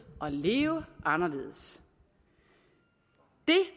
og leve anderledes det